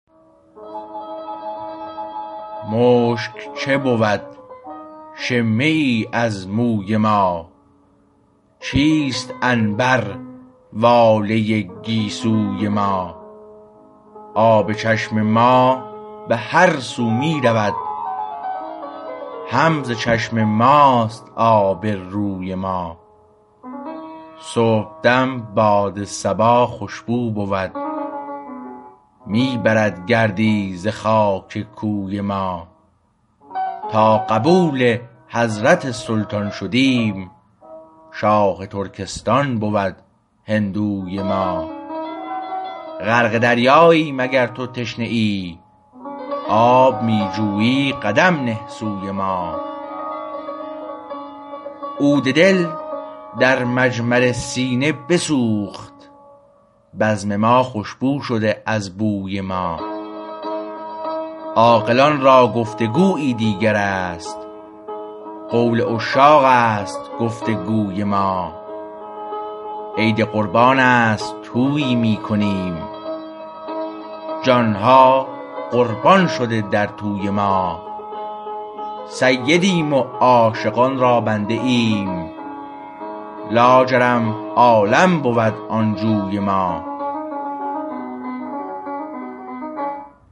مشک چه بود شمه ای از موی ما چیست عنبر واله گیسوی ما آب چشم ما به هر سو می رود هم ز چشم ماست آب روی ما صبحدم باد صباخوشبو بود می برد گردی ز خاک کوی ما تا قبول حضرت سلطان شدیم شاه ترکستان بود هندوی ما غرق دریاییم اگر تو تشنه ای آب می جویی قدم نه سوی ما عود دل در مجمر سینه بسوخت بزم ما خوشبو شده از بوی ما عاقلان را گفتگویی دیگر است قول عشاقست گفتگوی ما عید قربانست طویی میکنیم جانها قربان شده در طوی ما سیدیم و عاشقان را بنده ایم لاجرم عالم بود آن جوی ما